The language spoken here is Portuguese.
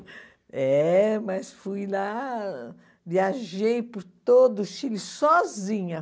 É, mas fui lá, viajei por todo o Chile sozinha.